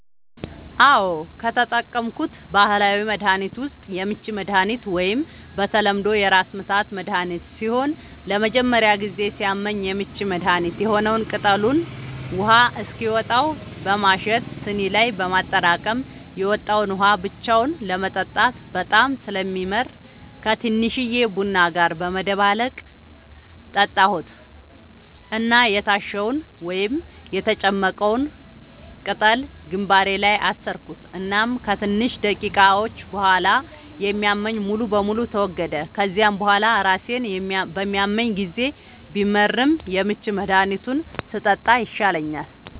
አዎ, ከተጠቀምኩት ባህላዊ መድሀኒት ዉስጥ የምች መድሃኒት ወይም በተለምዶ የራስምታት መድሀኒት ሲሆን ለመጀመሪያ ጊዜ ሲያመኝ የምች መድሀኒት የሆነዉን ቅጠሉን ውሃ እስኪወጣው በማሸት ስኒ ላይ በማጠራቀም የወጣዉን ውሃ ብቻውን ለመጠጣት በጣም ስለሚመር ከቲንሽዬ ቡና ጋር በመደባለቅ ጠጣሁት እና የታሸዉን (የተጨመቀዉን ፈ)ቅጠል ግንባሬ ላይ አሰርኩት እናም ከትንሽ ደቂቃዎች ቡሃላ የሚያመኝ ሙሉ በሙሉ ተወገደ፤ ከዚያ ቡሃላ ራሴን በሚያመኝ ጊዜ ቢመርም የምች መድሃኒቱን ስጠጣ ይሻለኛል።